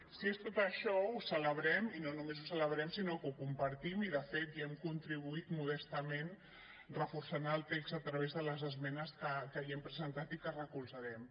si és tot això ho celebrem i només ho celebrem sinó que ho compartim i de fet hi hem contribuït modestament reforçant el text a través de les esmenes que hi hem presentat i que recolzarem